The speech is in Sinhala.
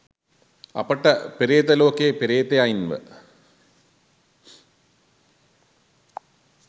අපට පෙරේත ලෝකේ පෙරේතයින්ව